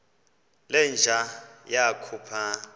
le nja yakhupha